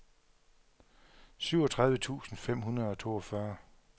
syvogtredive tusind fem hundrede og toogfyrre